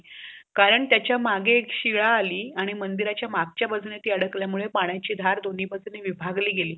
कारण त्याच्या मागे एक शिळा आली आणि मंदिरचा मागच्या बाजुन ती अडकल्या मूळ पाण्याची धार दोनी बाजूने विभागले गेली